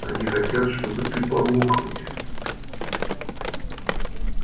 они хотят чтобы ты помог мне